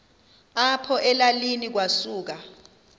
apho elalini kwasuka